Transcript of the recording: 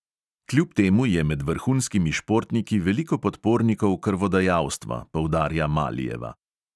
Kljub temu je med vrhunskimi športniki veliko podpornikov krvodajalstva, poudarja malijeva.